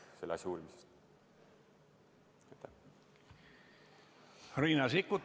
Riina Sikkut, palun!